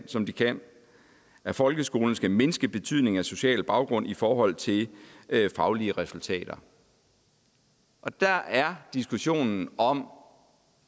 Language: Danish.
som de kan og at folkeskolen skal mindske betydningen af social baggrund i forhold til faglige resultater og der er diskussionen om